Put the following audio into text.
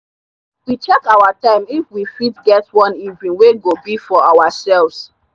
we check our time if we fit get one evening wey go be for ourselves.